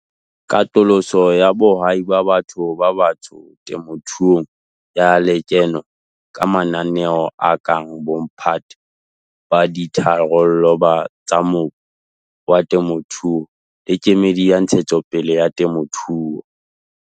katoloso ya bohwai ba batho ba batsho temothuong ya lekeno ka mananeo a kang Bomphato ba Ditharollo tsa Mobu wa Temothuo le Kemedi ya Ntshetsopele ya Temothuo.